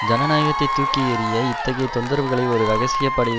ஜனநாயகத்தை தூக்கி எறிய இத்தகைய தொந்தரவுகளை ஒரு இரகசிய படை